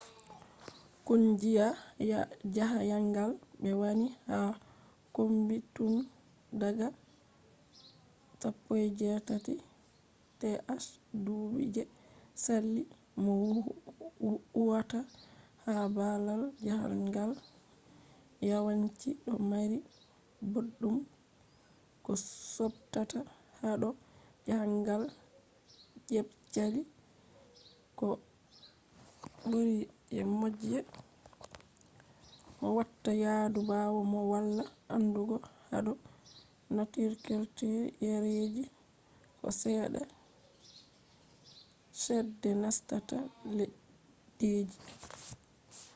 kungiya jahangal be wani ha kombi tun daga 19th dubi je sali.. mo huwata ha babal jahangal yawanci do mari boddum koh subtata hado jahangal jebsali koh buri je moh watta yadu bawo mo wala andugo hado nature culture yareji koh sedda chede nastata leddije